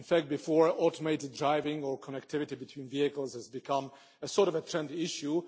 Before automated driving, all connectivity between vehicles has become a sort of trend issue.